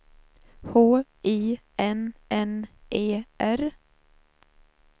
H I N N E R